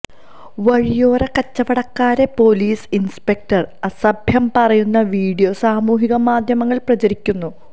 വഴിയോര കച്ചവടക്കാരെ police inspector അസഭ്യം പറയുന്ന വീഡിയോ സാമൂഹിക മാധ്യമങ്ങളില് പ്രചരിക്കുന്നു